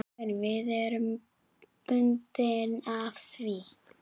Við erum bundin af því.